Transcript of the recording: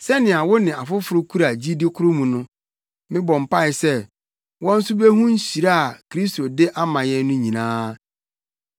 Sɛnea wo ne afoforo kura gyidi koro mu no, mebɔ mpae sɛ wɔn nso behu nhyira a Kristo de ama yɛn no nyinaa.